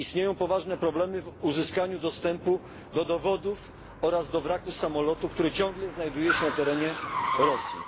Istnieją poważne problemy w uzyskaniu dostępu do dowodów oraz do wraku samolotu, który ciągle znajduje się na terenie Rosji.